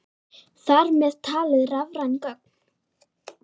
Þar með talið rafræn gögn.